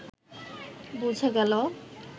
বুঝা গেল